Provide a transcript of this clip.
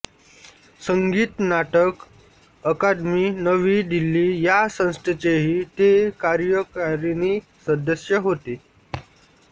संगीत नाटक अकादमी नवी दिल्ली या संस्थेचेही ते कार्यकारिणी सदस्य होते